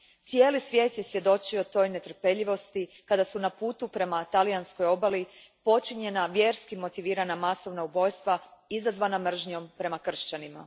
Cijeli svijet je svjedočio toj netrpeljivosti kada su na putu ka talijanskoj obali počinjena vjerski motivirana masovna ubojstva izazvana mržnjom prema kršćanima.